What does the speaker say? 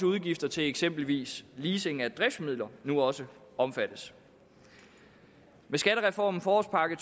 udgifter til eksempelvis leasing af driftsmidler nu også omfattes med skattereformen forårspakke